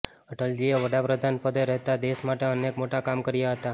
અટલજીએ વડા પ્રધાનપદે રહેતાં દેશ માટે અનેક મોટાં કામ કર્યાં હતાં